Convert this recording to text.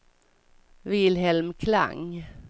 Wilhelm Klang